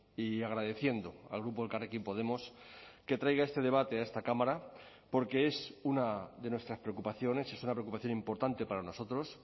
y agradeciendo al grupo elkarrekin podemos que traiga este debate a esta cámara porque es una de nuestras preocupaciones es una preocupación importante para nosotros